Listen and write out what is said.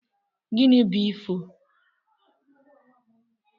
Gini bu ifo?